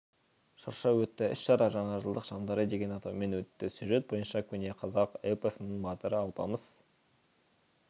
шырша өтті іс-шара жаңа жылдық шамдары деген атаумен өтті сюжет бойынша көне-қазақ эпосының батыры алпамыс